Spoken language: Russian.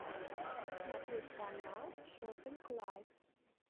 смотреть канал шоппинг лайф